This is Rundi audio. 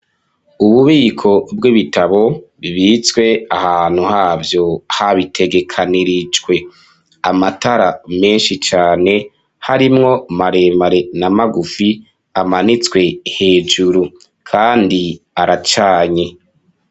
Ububiko bw'ibitabo bibitswe ahantu havyo habitegekanirijwe amatara menshi cane harimwo maremare n'amagufi amanitswe hejuru kandi aracanye.